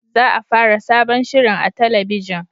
Za a fara sabon shirin a talabijin